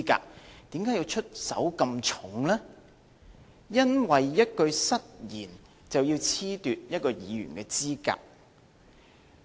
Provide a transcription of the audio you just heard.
為甚麼出手這麼重，因為一句失言，就要褫奪一位議員的資格呢？